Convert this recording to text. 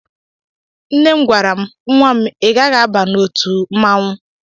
Nne m gwara m; Nwam i gaghị aba na ọtú mmanwụ!!!